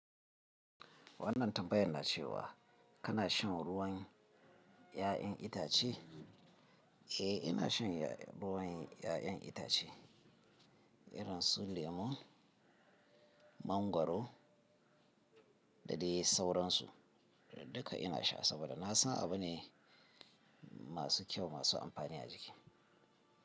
Wannan tambayan na ce wa kana shan ruwn ƴa'yan itace? Eh, ina shan ruwan ya'yan itace irin su lemo, mangwaro da dai sauransu. Duka ina sha saboda na san abu ne masu kyau masu amfani a jiki.